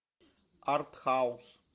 арт хаус